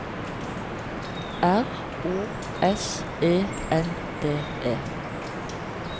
R O S E N D E